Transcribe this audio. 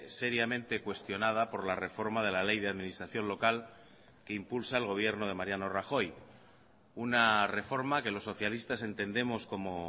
seriamente cuestionada por la reforma de la ley de administración local que impulsa al gobierno de mariano rajoy una reforma que los socialistas entendemos como